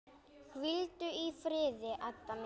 Hvíldu í friði, Edda mín.